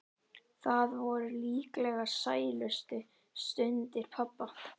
Það voru líklega sælustu stundir pabba.